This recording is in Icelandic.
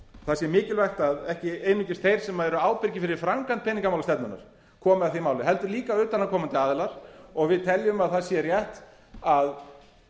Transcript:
það sé mikilvægt að ekki einungis þeir sem eru ábyrgir fyrir framkvæmd peningamálastefnunnar komi að því máli heldur líka utanaðkomandi aðilar við teljum að það sé rétt að